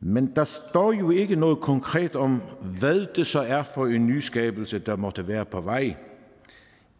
men der står jo ikke noget konkret om hvad det så er for en nyskabelse der måtte være på vej